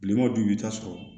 Kilema dun i b'i ta sɔrɔ